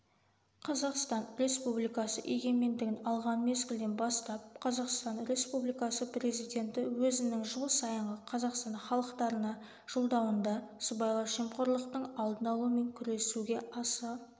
қазақстан республикасы егемендігін алған мезгілден бастап қазақстан республикасы президенті өзінің жыл сайынғы қазақстан халықтарына жолдауында сыбайлас жемқорлықтың алдын-алу мен күресуге аса